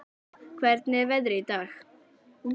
Rea, hvernig er veðrið í dag?